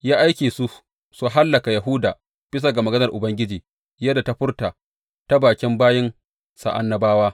Ya aike su su hallaka Yahuda bisa ga maganar Ubangiji wadda ya furta ta bakin bayinsa annabawa.